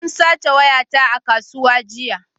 Sun sace wayata a kasuwa jiya